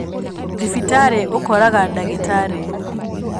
Thibitarĩũkoraga dagĩtarĩ.